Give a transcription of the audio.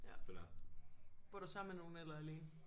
Ja bor du sammen med nogen eller alene